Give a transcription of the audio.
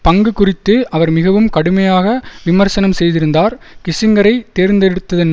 பங்கு குறித்து அவர் மிகவும் கடுமையாக விமர்சனம் செய்திருந்தார் கிஸ்ஸிங்கரை தேர்ந்தெடுத்ததன்